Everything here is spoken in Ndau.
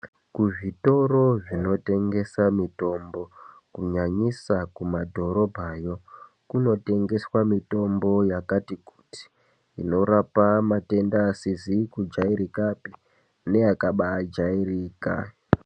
Kuzvitoro zvinotengesa mitombo kunyanyisa kumadhorobhayo kunotengeswa mitombo yakati kuti inorapa matenda asizi kujairikapi neakabaajairika.